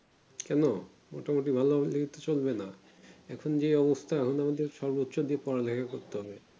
কোনো মোটা মতি ভালো হলে তো চলবে না এখুন যেই অবস্থা হলো আমাদের সারা বছর দিয়েই পড়া লেখা করতে হবে